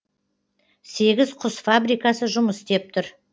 сегіз құс фабрикасы жұмыс істеп тұр